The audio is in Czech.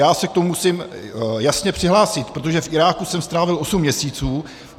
Já se k tomu musím jasně přihlásit, protože v Iráku jsem strávil osm měsíců.